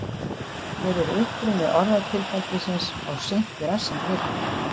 Hver er uppruni orðatiltækisins of seint í rassinn gripið?